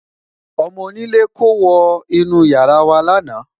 ọmọ onílè kò wo inú yàrá wa lana